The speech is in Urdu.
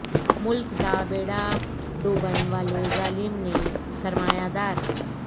ملک دا بیڑا ڈوبن والے ظالم نیں سرمایہ دار